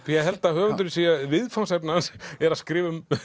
held að höfundurinn viðfangsefnið er að skrifa um